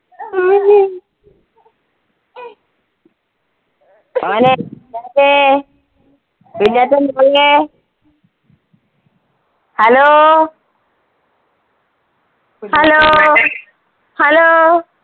മോനെ കുഞ്ഞാറ്റെ hello hello, hello